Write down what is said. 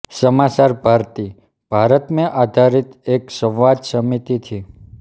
समाचार भारती भारत में आधारित एक संवाद समिति थी